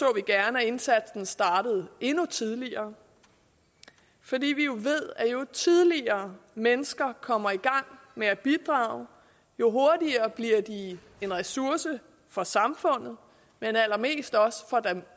gerne at indsatsen startede endnu tidligere fordi vi ved at jo tidligere mennesker kommer i gang med at bidrage jo hurtigere bliver de en ressource for samfundet men allermest også for dem